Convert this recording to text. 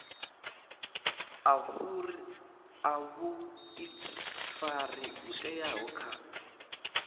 a vhuifari ho teaho kha